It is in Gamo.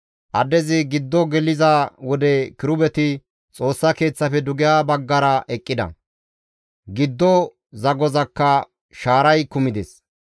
Addezi giddo geliza wode kirubeti Xoossa Keeththafe dugeha baggara eqqida; giddo zagozakka shaaray kumides.